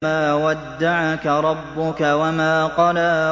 مَا وَدَّعَكَ رَبُّكَ وَمَا قَلَىٰ